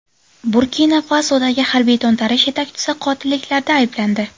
Burkina-Fasodagi harbiy to‘ntarish yetakchisi qotilliklarda ayblandi .